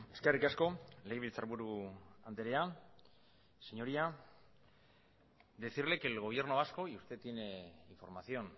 eskerrik asko legebiltzarburu andrea señoría decirle que el gobierno vasco y usted tiene información